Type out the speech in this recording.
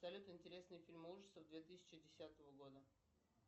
салют интересные фильмы ужасов две тысячи десятого года